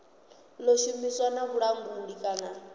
ḓo shumisana na vhulanguli kana